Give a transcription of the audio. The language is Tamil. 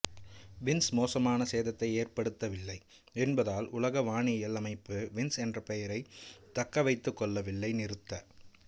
வின்ஸ் மோசமான சேதத்தை ஏற்படுத்தவில்லை என்பதால் உலக வானியல் அமைப்பு வின்ஸ் என்ற பெயரைத் தக்கவைத்துக் கொள்ளவில்லை நிறுத்த